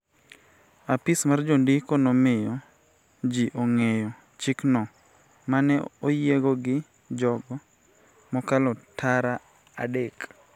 apis mar jondiko nomiyo ji ong�eyo chikno ma ne oyiego gi jogo mokalo tara adek